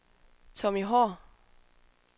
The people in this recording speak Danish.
Tommy Haahr